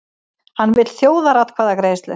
Hann vill þjóðaratkvæðagreiðslu